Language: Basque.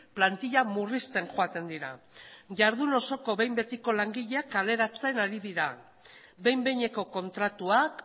plantilla murrizten joaten dira jardun osoko behin betiko langileak kaleratzen ari dira behin behineko kontratuak